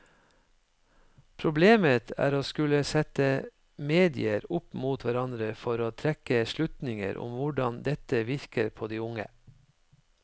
Problemet er å skulle sette medier opp mot hverandre for å trekke slutninger om hvordan dette virker på de unge.